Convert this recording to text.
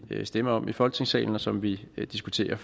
stemmer om i folketingssalen og som vi vi diskuterer